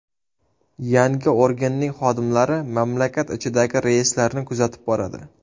Yangi organning xodimlari mamlakat ichidagi reyslarni kuzatib boradi.